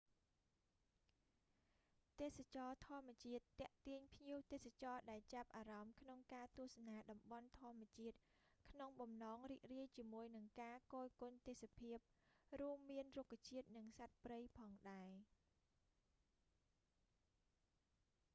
ទេសចរណ៍ធម្មជាតិទាក់ទាញភ្ញៀវទេសចរណ៍ដែលចាប់អារម្មណ៍ក្នុងការទស្សនាតំបន់ធម្មជាតិក្នុងបំណងរីករាយជាមួយនឹងការគយគន់ទេសភាព រួមមានរុក្ខជាតិនិងសត្វព្រៃផងដែរ